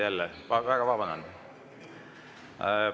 Taas kord, jälle väga vabandan!